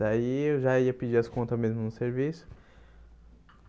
Daí eu já ia pedir as contas mesmo no serviço.